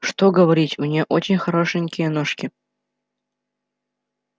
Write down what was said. что говорить у неё очень хорошенькие ножки